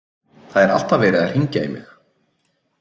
Það er alltaf verið að hringja í mig.